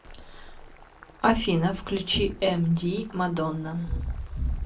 афина включи эмди мадонна